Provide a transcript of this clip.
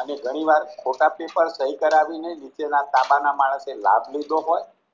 અને ઘણી વાર ખોટા પેપર સહી કરાવીને નીચેની તાબાના માણસે લાભ લીધો હોય